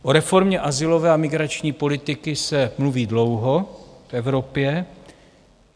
O reformě azylové a migrační politiky se mluví dlouho v Evropě.